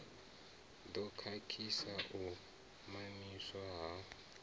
ḓo khakhisa u mamiswa ha